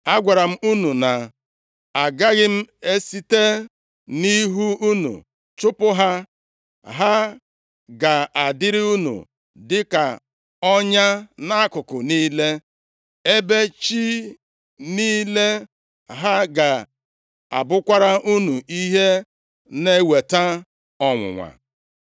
Agwara m unu, na ‘agaghị m esite nʼihu unu chụpụ ha; ha ga-adịrị unu dịka ọnya nʼakụkụ niile, ebe chi niile ha ga-abụkwara unu ihe na-eweta ọnwụnwa. + 2:3 Maọbụ, Ihe ịma nʼọnya’ ”+ 2:3 \+xt Ọpụ 23:33; Dit 7:17\+xt*